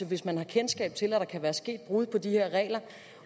hvis man har kendskab til at der kan være sket brud på de her regler